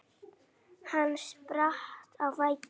Hann spratt á fætur.